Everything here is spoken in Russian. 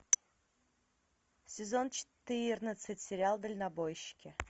сезон четырнадцать сериал дальнобойщики